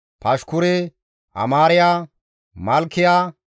Pashkure, Amaariya, Malkiya,